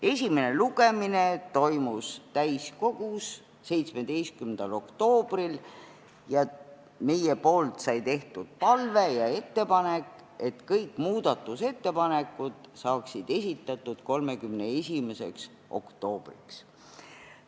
Esimene lugemine toimus täiskogus 17. oktoobril ning meie palve ja ettepanek oli, et kõik muudatusettepanekud saaksid esitatud 31. oktoobriks.